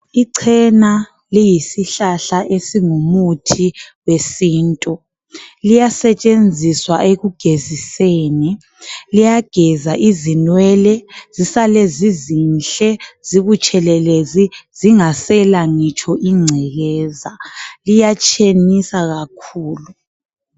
Ichena liyisihlahla esingu muthi wesintu liyasetshenziswa ekugeziseni, liyageza izinwele zisale zizinhle zibutshelelezi zingasela ngitsho ingcekeza liyatshenisa kakhulu.